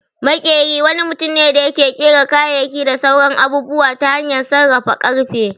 Maƙyeri wani mutum ne da yake ƙera kayayyaki da sauran abubuwa ta hanyar sarrafa ƙarfe